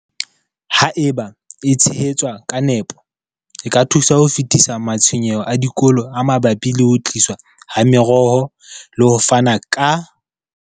Haeba e tshehetswa ka nepo, e ka thusa ho fedisa matshwenyeho a dikolo a mabapi le ho tliswa ha meroho le ho fana ka.